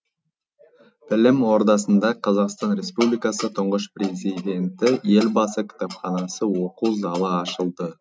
білім ордасында қазақстан республикасы тұңғыш президенті елбасы кітапханасы оқу залы ашылды